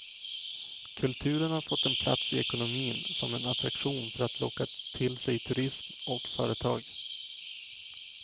Kulturen har fått en plats i ekonomin, som en attraktion för att locka till sig turism och företag.